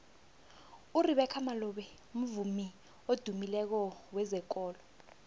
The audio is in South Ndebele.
urebeca malope mvumi odumileko wezekolo